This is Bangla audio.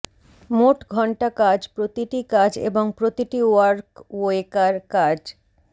মোট ঘন্টা কাজ প্রতিটি কাজ এবং প্রতিটি ওয়ার্কওয়েকার কাজ